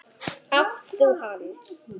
Átt þú hann?